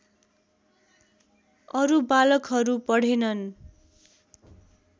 अरू बालकहरू पढेनन्